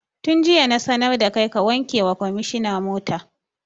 Tun jiya na sanar da kai ka wanke wa kwamishina mota!